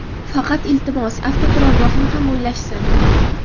Faqat, iltimos, avtoturargohni ham o‘ylashsin.